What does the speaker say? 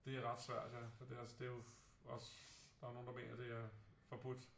Det er ret svært ja for det altså det er jo også der er jo nogle der mener at det er øh forbudt